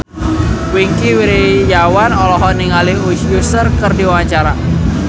Wingky Wiryawan olohok ningali Usher keur diwawancara